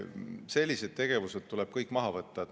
Sellised tegevused tuleb kõik maha võtta.